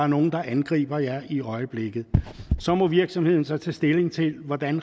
nogle der angriber jer i øjeblikket så må virksomheden så tage stilling til hvordan